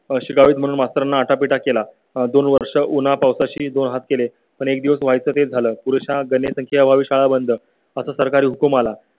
शिकावीत म्हणून आता आटापिटा केला. दोन वर्षे उन्हा पावसाशी दोन हात केले. पण एक दिवस व्हाय चं तेच झालं. पुरुषा गणेश घ्यावी, शाळा बंद असा सरकारी हुकूम आला.